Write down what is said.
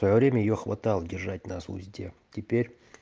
время её хватал держать на суде теперь